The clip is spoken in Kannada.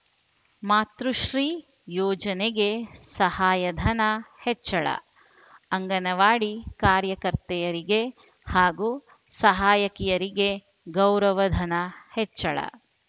ಮಾತೃಶ್ರೀ ಯೋಜನೆಗೆ ಸಹಾಯಧನ ಹೆಚ್ಚಳ ಅಂಗನವಾಡಿ ಕಾರ್ಯಕರ್ತೆಯರಿಗೆ ಹಾಗೂ ಸಹಾಯಕಿಯರಿಗೆ ಗೌರವಧನ ಹೆಚ್ಚಿಳ